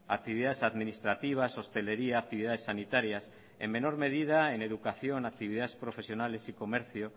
actividades administrativas hosteleria actividades sanitarias en menor medida en educación actividades profesionales y comercio